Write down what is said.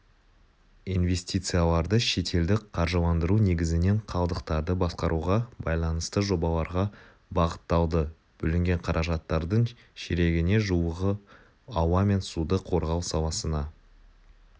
инвестицияларды шетелдік қаржыландыру негізінен қалдықтарды басқаруға байланысты жобаларға бағытталды бөлінген қаражаттардың ширегіне жуығы ауа мен суды қорғау саласына